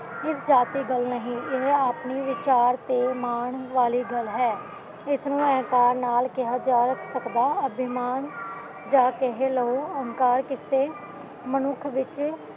ਇਹ ਜਾਤ ਦੀ ਗੱਲ੍ਹ ਇਹ ਆਪਣੀਂ ਵਿਚਾਰ ਤੇ ਮਾਣ ਵਾਲ਼ੀ ਗੱਲ੍ਹ ਹੈ, ਇਸ ਨੂੰ ਹਿੰਕਾਰ ਨਾਲ਼ ਕਿਹਾ ਜਾ ਸਕਦਾ ਅਭਿਮਾਨ ਯਾ ਕਹਿ ਲਾਓ ਹੰਕਾਰ ਕਿਸੇ ਮਨੁੱਖ ਵਿੱਚ